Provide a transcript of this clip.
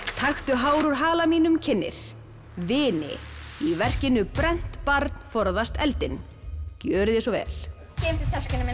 taktu hár úr hala mínum kynnir vini í verkinu brennt barn forðast eldinn gjörið svo vel geymdu töskuna mína